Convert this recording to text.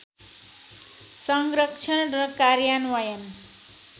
संरक्षण र कार्यान्वयन